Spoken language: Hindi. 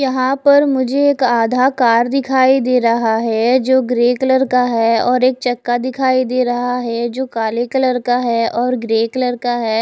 यहां पर मुझे एक आधा कार दिखाई दे रहा है जो ग्रे कलर का है और एक चक्का दिखाई दे रहा है जो काले कलर का है और ग्रे कलर का है।